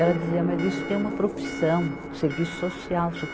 Ela dizia, mas isso tem uma profissão, serviço social, seu